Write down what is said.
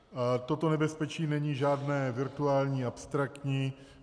Toto nebezpečí není žádné virtuální, abstraktní.